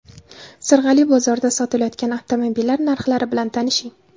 Sirg‘ali bozorida sotilayotgan avtomobillar narxlari bilan tanishing.